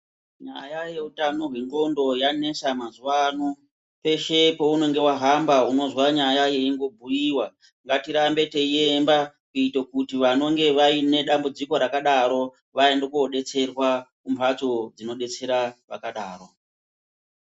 Nyaya yeutano hwendxondo yanesa mazuwano. Peshe pounenge wahamba unozwa nyaya yeingobhuyiwa. Ngatirambe teiiyemba kuito kuti vanonge vaine dambudziko rakadaro vaende kodetserwa kumbatso dzinodetsera vakadaro.